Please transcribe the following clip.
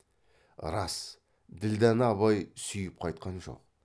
рас ділдәні абай сүйіп қайтқан жоқ